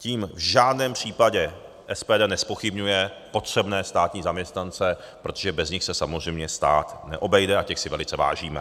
Tím v žádném případě SPD nezpochybňuje potřebné státní zaměstnance, protože bez nich se samozřejmě stát neobejde, a těch si velice vážíme.